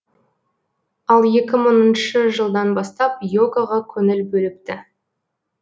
ал екі мыңыншы жылдан бастап йогаға көңіл бөліпті